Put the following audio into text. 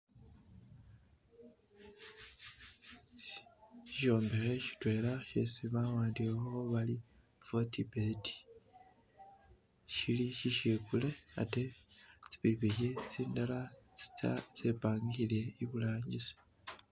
Shishombekhe shitwela shesi bawandikhakho bari "Fort Bet", shili shishikule atee tsipikhipikhi tsindala tsempangile iburangisi